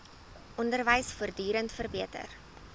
onderwys voortdurend verbeter